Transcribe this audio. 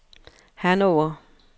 Hannover